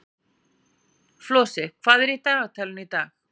Flosi, hvað er í dagatalinu í dag?